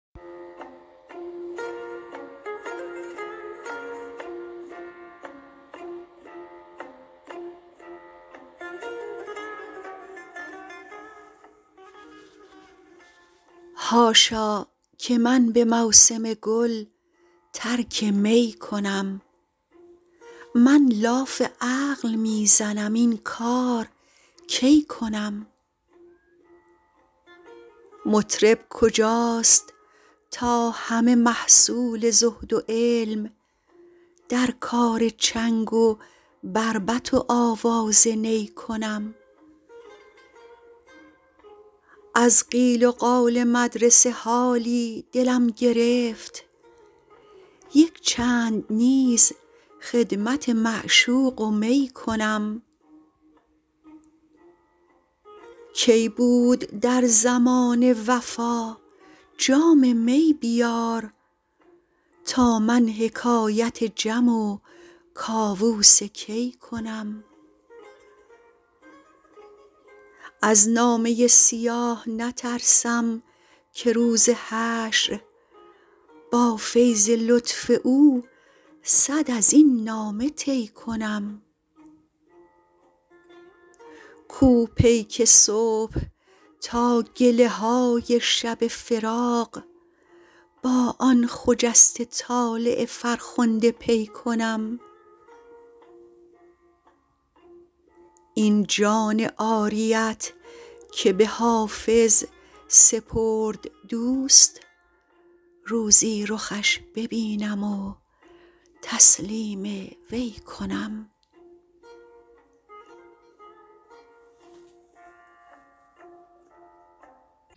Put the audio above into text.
حاشا که من به موسم گل ترک می کنم من لاف عقل می زنم این کار کی کنم مطرب کجاست تا همه محصول زهد و علم در کار چنگ و بربط و آواز نی کنم از قیل و قال مدرسه حالی دلم گرفت یک چند نیز خدمت معشوق و می کنم کی بود در زمانه وفا جام می بیار تا من حکایت جم و کاووس کی کنم از نامه سیاه نترسم که روز حشر با فیض لطف او صد از این نامه طی کنم کو پیک صبح تا گله های شب فراق با آن خجسته طالع فرخنده پی کنم این جان عاریت که به حافظ سپرد دوست روزی رخش ببینم و تسلیم وی کنم